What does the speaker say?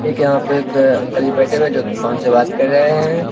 एक यहाँ पे एक अंकल जी बैठे हुये हैं जो कि फोन से बात कर रहे हैं।